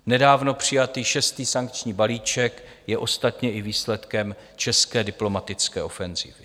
Nedávno přijatý šestý sankční balíček je ostatně i výsledkem české diplomatické ofenzivy.